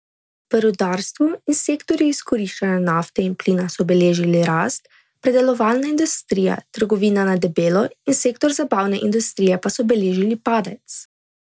V rudarstvu in sektorju izkoriščanja nafte in plina so beležili rast, predelovalna industrija, trgovina na debelo in sektor zabavne industrije pa so beležili padec.